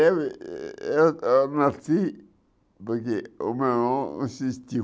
Eu eu eu nasci porque o meu irmão insistiu.